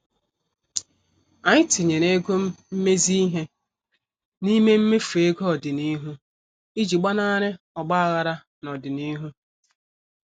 Anyị tinyere ego mmezi ihe n' ime mmefu ego ọdịnihu iji gbanari ogbaghara n' ọdịnihu.